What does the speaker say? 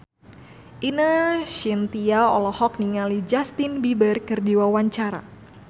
Ine Shintya olohok ningali Justin Beiber keur diwawancara